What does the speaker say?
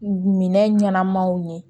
Minɛn ɲɛnamaw ye